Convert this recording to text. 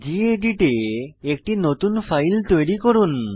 gedit এ একটি নতুন ফাইল তৈরি করুন